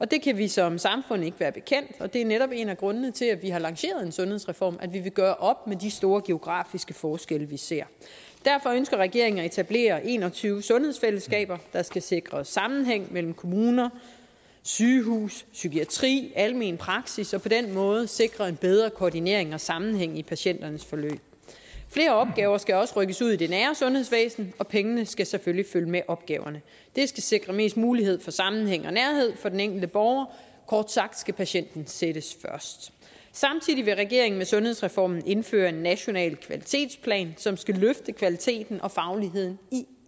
det kan vi som samfund ikke være bekendt og det er netop en af grundene til at vi har lanceret en sundhedsreform altså at vi vil gøre op med de store geografiske forskelle vi ser derfor ønsker regeringen at etablere en og tyve sundhedsfællesskaber der skal sikre sammenhæng mellem kommune sygehus psykiatri almen praksis og på den måde sikre en bedre koordinering og sammenhæng i patienternes forløb flere opgaver skal også rykkes ud i det nære sundhedsvæsen og pengene skal selvfølgelig følge med opgaverne det skal sikre mest mulig sammenhæng og nærhed for den enkelte borger kort sagt skal patienten sættes først samtidig vil regeringen med sundhedsreformen indføre en national kvalitetsplan som skal løfte kvaliteten og fagligheden i